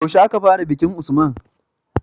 Yaushe aka fara bikin usman?